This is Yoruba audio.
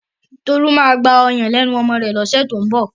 Tolú máa gbọ́yàn lẹ́nu ọmọ rẹ̀ lọ́sẹ̀ tó ń bọ̀.